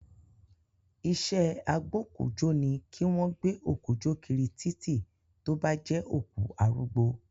Iṣẹ́ agbókújóni ni kí wọ́n gbé òkú jó kiri títì, tó bá jẹ́ òkú arúgbó